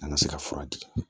An ka se ka fura di